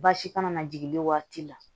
Baasi kana na jigin waati la